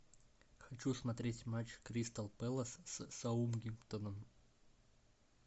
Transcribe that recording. хочу смотреть матч кристал пэлас с саутгемптоном